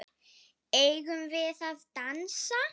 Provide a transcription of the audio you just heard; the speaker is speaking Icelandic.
Eigum við að dansa?